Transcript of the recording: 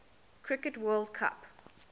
cricket world cup